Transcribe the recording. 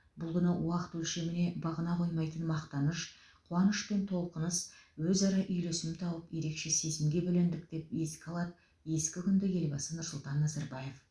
бұл күні уақыт өлшеміне бағына қоймайтын мақтаныш қуаныш пен толқыныс өзара үйлесім тауып ерекше сезімге бөлендік деп еске алады ескі күнді елбасы нұрсұлтан назарбаев